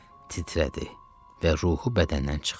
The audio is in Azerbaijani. Titrədi və ruhu bədəndən çıxdı.